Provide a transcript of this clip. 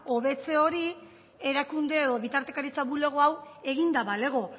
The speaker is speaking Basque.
hobetze hori erakunde edo bitartekaritza bulego hau eginda balego